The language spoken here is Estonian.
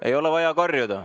Ei ole vaja karjuda.